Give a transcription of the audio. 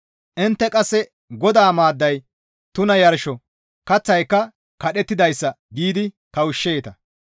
«Intte qasse, ‹Godaa maadday tuna yarsho; kaththayka kadhettidayssa› giidi kawushsheeta.